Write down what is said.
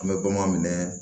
An bɛ bamanan minɛ